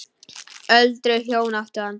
Öldruð hjón áttu hann.